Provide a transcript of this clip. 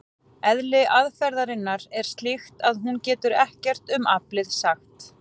Eðli aðferðarinnar er slíkt að hún getur ekkert um aflið sagt.